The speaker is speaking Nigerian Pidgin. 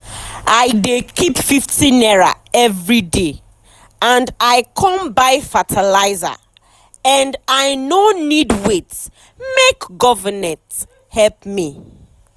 i dey keep #50 everyday and i con buy fertilizer and i no need wait make government help me.